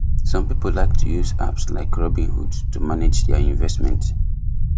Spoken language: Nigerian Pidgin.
some people like to use apps like robinhood to manage their investment